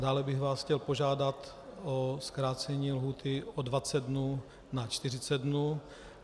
Dále bych vás chtěl požádat o zkrácení lhůty o 20 dnů na 40 dnů.